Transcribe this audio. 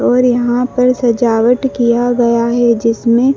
और यहां पर सजावट किया गया है जिसमें--